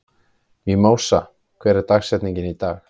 Mímósa, hver er dagsetningin í dag?